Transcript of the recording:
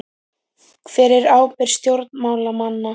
Hver er ábyrgð stjórnmálamanna?